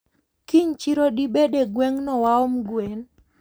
Kiny chiro dibede gwengno waom gwen?